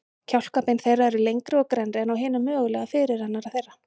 Kjálkabein þeirra eru lengri og grennri en á hinum mögulega fyrirrennara þeirra.